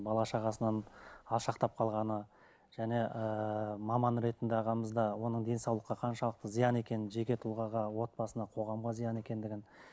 бала шағасынан алшақтап қалғаны және ыыы маман ретінде ағамыз да оның денсаулыққа қаншалықты зиян екенін жеке тұлғаға отбасына қоғамға зиян екендігін